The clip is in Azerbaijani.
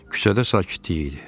Küçədə sakitlik idi.